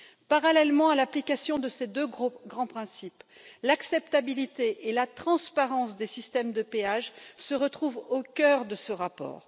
Parallèlement à l'application de ces deux grands principes, l'acceptabilité et la transparence des systèmes de péage se retrouvent au cœur de ce rapport.